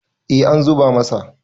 eh an zuba masa